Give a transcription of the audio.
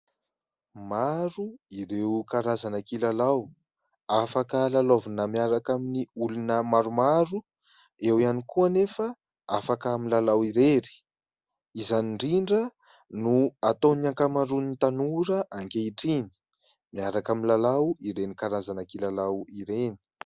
Maro ireo karazana kilalao afaka lalaovina miaraka amin'ny olona maromaro, eo ihany koa anefa afaka amin'ny lalao irery; izany indrindra no ataony ankamaroan'ny tanora ankehitriny miaraka amin'ny lalao ireny karazana kilalao ireny.